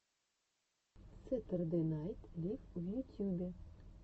сэтердэй найт лив в ютюбе